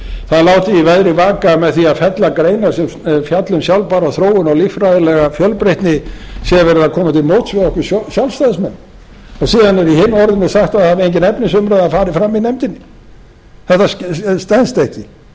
það er látið í veðri vaka með því að fella greinar sem fjalla um sjálfbær þróun og líffræðilega fjölbreytni sé verið að koma til móts við okkur sjálfstæðismenn síðan er í hinu orðinu sagt að það hafi engin efnisumræða farið fram í nefndinni þetta stenst ekki